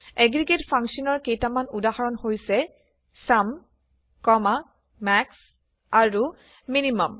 aggregate ফাংশ্যনৰ কেইটামান উদাহৰণ হৈছে - চুম মাস আৰু MIN